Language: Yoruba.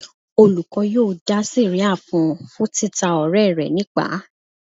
Olùkọ́ yóò dá sẹ̀ríà fún un fún títa ọ̀rẹ́ rẹ̀ nípàá.